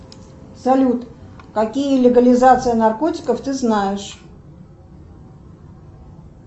салют какие легализации наркотиков ты знаешь